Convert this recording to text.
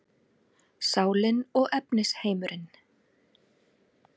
Sálin og efnisheimurinn